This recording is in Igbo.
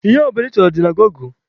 Ihe ọ bụla ị chọrọ dị na gọgụ.